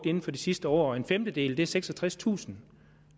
inden for det sidste år en femtedel er seksogtredstusind